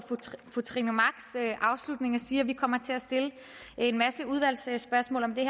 fru trine machs afslutning og sige at vi kommer til at stille en masse udvalgsspørgsmål om det